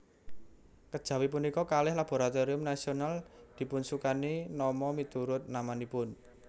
Kejawi punika kalih laboratorium nasional dipunsukani nama miturut namanipun